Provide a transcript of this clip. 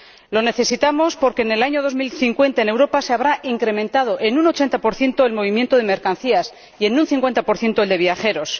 Lo necesitamos porque en el año 2050 en Europa se habrá incrementado en un 80 el movimiento de mercancías y en un 50 el de viajeros.